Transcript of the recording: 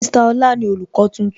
Mr Ọlá ni olùkọ́ tuntun